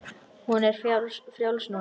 Hún er frjáls núna.